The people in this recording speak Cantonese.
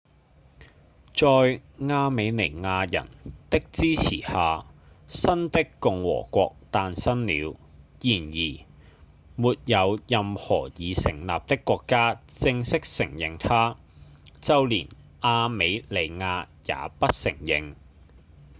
在亞美尼亞人的支持下新的共和國誕生了然而沒有任何已成立的國家正式承認它就連亞美尼亞也不承認